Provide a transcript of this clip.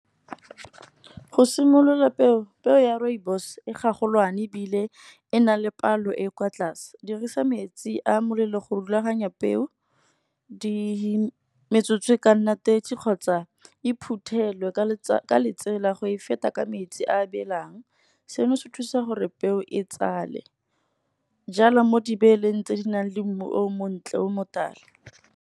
Go simolola peo, peo ya rooibos e ga golwane ebile e na le palo e e kwa tlase. Dirisa metsi a molelo go rulaganya peo, metsotso e ka nnang thirty, kgotsa e phuthelwe ka tsela go e feta ka metsi a belang. Seno se thusa gore peo e tsale jalo mo dibeeleng tse di nang le mmu o montle o motala.